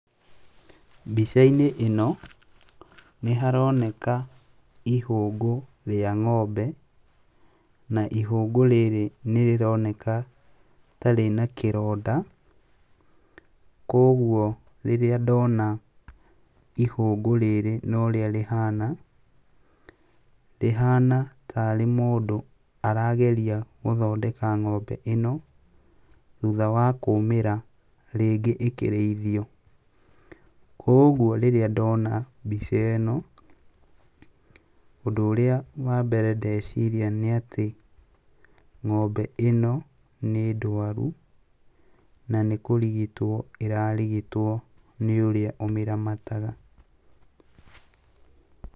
Mbica-inĩ ĩno nĩharoneka ihũngũ rĩa ng'ombe, na ihũngũ rĩrĩ nĩrĩroneka ta rĩna kĩronda, kuoguo rĩrĩa ndona ihũngũ rĩrĩ na ũrĩa rĩhana, rĩhana tarĩ mũndũ arageria gũthondeka ng'ombe ĩno thutha wa kũmĩra rĩngĩ ĩkĩrĩithio. Kuoguo rĩrĩa ndona mbica ĩno, ũndũ ũrĩa wa mbere ndeciria nĩatĩ ng'ombe ĩno nĩ ndwaru na nĩ kũrigitwo ĩrarigitwo nĩ ũrĩa ũmĩramataga.